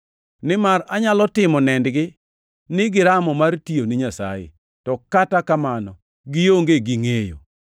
Nimar anyalo timo nendgi ni giramo mar tiyo ni Nyasaye, to kata kamano gionge gi ngʼeyo.